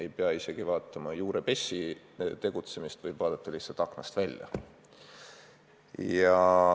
Ei pea isegi vaatama juurepessu tegutsemist, võib vaadata lihtsalt aknast välja.